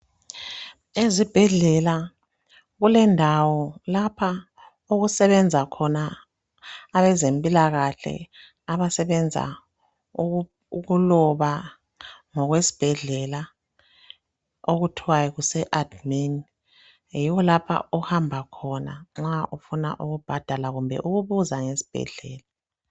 Ezibhedlela kulendawo lapha okusebenza khona abezempilakahle abasebenza ukuloba ngokwesibhedlela okuthwa kuseadmin yiwo lapha ohamba khona nxa ufuna ukubhadala kumbe ufuna ukubuza ngesibhedlela.